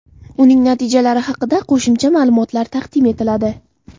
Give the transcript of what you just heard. Uning natijalari haqida qo‘shimcha ma’lumotlar taqdim etiladi.